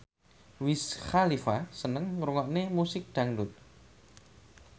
Wiz Khalifa seneng ngrungokne musik dangdut